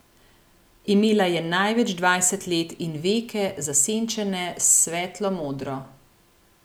Imela je največ dvajset let in veke, zasenčene s svetlo modro.